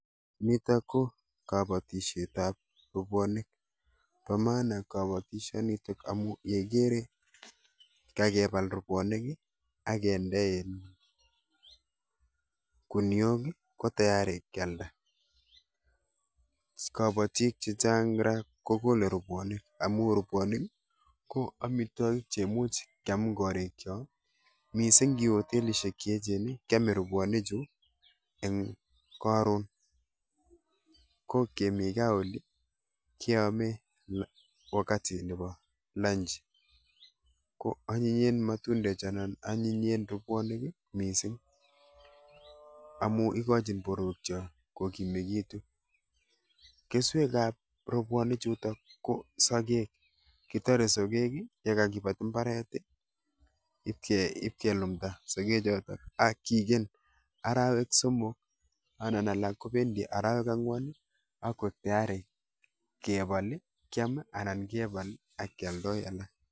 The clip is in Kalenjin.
Nitok ko kabatishetap rubwonik. Bo maana boishonitok amu yeikere kakepal rubwonik, akende um guniok ko tayari kyalda. kabatik chechang ra kokole rubwonik amu rubwonik ko amitwokik cheimuch keam eng korikcho mising nkiwe hotelishek cheechen keome robwonichu eng karon ko kemi gaa oli keame wakati nepo lanchi. Ko anyinyen matundechu anan anyinyen robwonik mising amu ikochin borwekcho kokimekitu. Keswekap robwonichuto ko sogek. kitore sogek yekakepat mbaret ipkelumda sogechoto ak kigen arawek somok anan alak kopendi arawek ang'wan kakwek tayari kepal, kyam anan kepal akyoldoi alak.